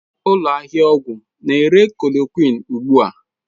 Ụlọ ahịa ọgwụ na-ere chloroquine ugbu a?